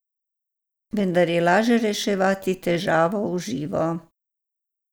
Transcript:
Vendar je laže reševati težave v živo.